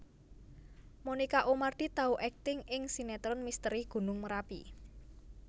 Monica Oemardi tau akting ing sinetron Misteri Gunung Merapi